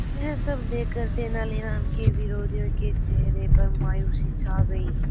यह सब देखकर तेनालीराम के विरोधियों के चेहरे पर मायूसी छा गई